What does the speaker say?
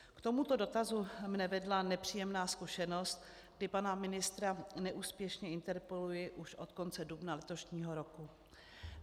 K tomuto dotazu mě vedla nepříjemná zkušenost, kdy pana ministra neúspěšně interpeluji už od konce dubna letošního roku.